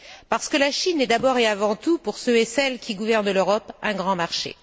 Parce que la Chine est d'abord et avant tout, pour ceux et celles qui gouvernent l'Europe, un grand marché.